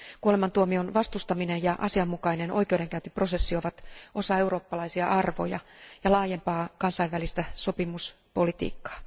Kuolemantuomion vastustaminen ja asianmukainen oikeudenkäyntiprosessi ovat osa eurooppalaisia arvoja ja laajempaa kansainvälistä sopimuspolitiikkaa.